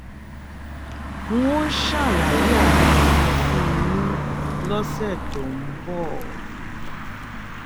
n óò ṣàlàyé àwọn ìyẹn fún yín lọ́sẹ̀ tó ń bọ̀